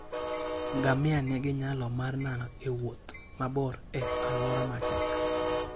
Ngamia nigi nyalo mar nano e wuoth mabor e alwora matek.